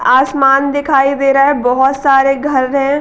आसमान दिखाई दे रहा है भोत सारे घर हैं।